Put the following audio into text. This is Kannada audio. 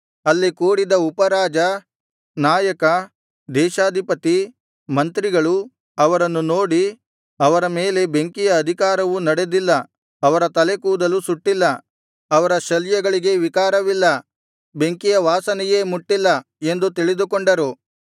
ಅಲ್ಲಿ ಕೂಡಿದ್ದ ಉಪರಾಜ ನಾಯಕ ದೇಶಾಧಿಪತಿ ಮಂತ್ರಿಗಳು ಅವರನ್ನು ನೋಡಿ ಅವರ ಮೇಲೆ ಬೆಂಕಿಯ ಅಧಿಕಾರವು ನಡೆದಿಲ್ಲ ಅವರ ತಲೆಕೂದಲೂ ಸುಟ್ಟಿಲ್ಲ ಅವರ ಶಲ್ಯಗಳಿಗೆ ವಿಕಾರವಿಲ್ಲ ಬೆಂಕಿಯ ವಾಸನೆಯೇ ಮುಟ್ಟಿಲ್ಲ ಎಂದು ತಿಳಿದುಕೊಂಡರು